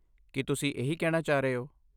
ਕੀ ਤੁਸੀਂ ਇਹ ਕਹਿਣਾ ਚਾਹ ਰਹੇ ਹੋ?